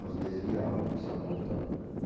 Nós desviamos, precisamos voltar.